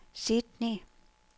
Sydney